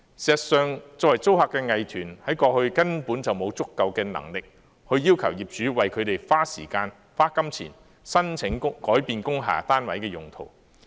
事實上，作為租客的藝團，在過去根本沒有足夠能力要求業主為他們花時間和金錢申請改變工廈單位的用途。